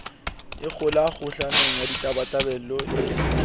ikgula kgohlanong ya ditabatabelo e